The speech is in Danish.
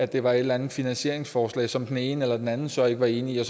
det var et eller andet finansieringsforslag som den ene eller den anden så ikke var enig i